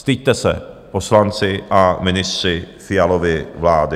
Styďte se, poslanci a ministři Fialovy vlády!